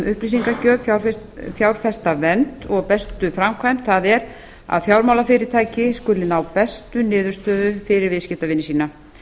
upplýsingagjöf fjárfestavernd og bestu framkvæmd það er að fjármálafyrirtæki skuli ná bestu niðurstöðu fyrir viðskiptavini sína